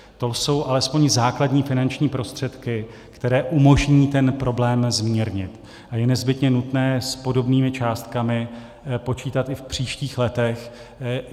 To jsou alespoň základní finanční prostředky, které umožní ten problém zmírnit, a je nezbytně nutné s podobnými částkami počítat i v příštích letech.